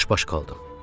Çaşbaş qaldım.